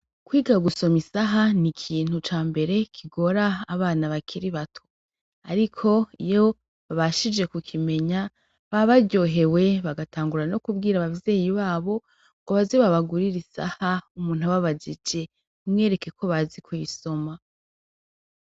Kwiga gusoma isaha nikintu cambere kigora abana bakiri bato, ariko iyo babashije kukimenye baba baryohewe bagatangira no kubwira abavyeyi babo ngo baze babagurire isaha umuntu ababajije bamwereke ko bazi kuyisoma.